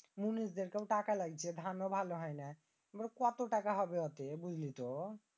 মুনিষদের কে ও টাকা দেওয়া লাগছে আবার ধান ও ভালো হয়নাই এবার কত টাকা হবে বুঝলিতো?